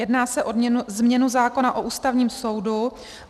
Jedná se o změnu zákona o Ústavním soudu.